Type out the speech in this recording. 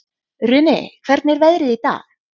Runi, hvernig er veðrið í dag?